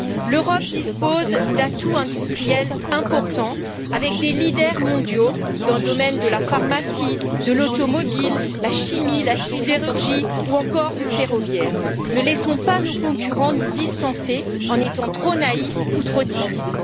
L'Europe dispose d'atouts industriels importants, avec des leaders mondiaux dans les domaines de la pharmacie, de l'automobile, de la chimie, de la sidérurgie ou encore dans le ferroviaire. Ne laissons pas nos concurrents nous distancer en étant trop naïfs ou trop timides.